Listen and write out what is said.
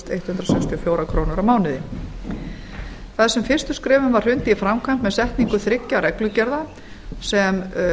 sextíu og fjórar krónur á mánuði þar sem fyrstu skrefum var hrundið í framkvæmd með setningu þriggja reglugerða sem